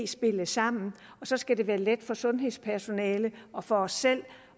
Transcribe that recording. spille sammen og så skal det være let for sundhedspersonalet og for os selv